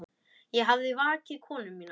Ég hafði vakið konu mína.